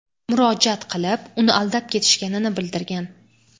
murojaat qilib, uni aldab ketishganini bildirgan.